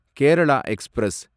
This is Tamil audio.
கேரள எக்ஸ்பிரஸ்